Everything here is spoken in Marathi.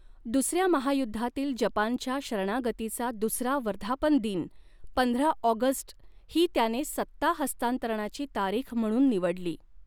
दुसऱ्या महायुद्धातील जपानच्या शरणागतीचा दुसरा वर्धापन दिन, पंधरा ऑगस्ट ही त्याने सत्ता हस्तांतरणाची तारीख म्हणून निवडली.